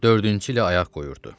Dördüncü ilə ayaq qoyurdu.